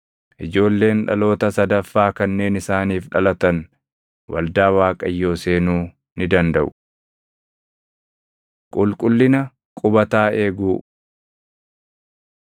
Ijoolleen dhaloota sadaffaa kanneen isaaniif dhalatan waldaa Waaqayyoo seenuu ni dandaʼu. Qulqullina Qubataa Eeguu